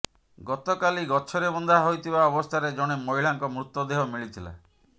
ଗତକାଲି ଗଛରେ ବନ୍ଧା ହୋଇଥିବା ଅବସ୍ଥାରେ ଜଣେ ମହିଳାଙ୍କ ମୃତ ଦେହ ମିଳିଥିଲା